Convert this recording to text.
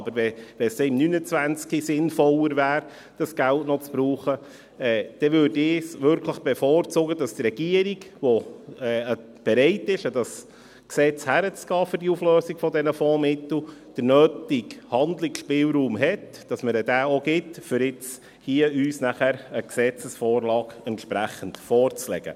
Aber wenn es im 2029 sinnvoller wäre, das Geld zu verwenden, würde ich bevorzugen, dass die Regierung, die bereit ist, das Gesetz für die Auflösung der Fondsmittel anzugehen, den nötigen Handlungsspielraum hat und man ihr diesen auch gibt, um uns auch eine entsprechende Gesetzesvorlage vorzulegen.